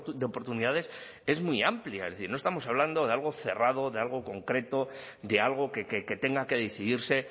de oportunidades es muy amplia no estamos hablando de algo cerrado de algo concreto de algo que tenga que decidirse